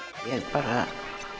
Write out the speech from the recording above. bara